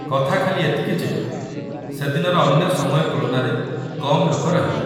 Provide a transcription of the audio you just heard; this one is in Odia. କଥା ଖାଲି ଏତିକି ଯେ ସେଦିନର ଅନ୍ୟ ସମୟ ତୁଳନାରେ କମ୍ ଲୋକ ରହିବେ ।